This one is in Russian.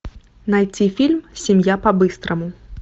найти фильм семья по быстрому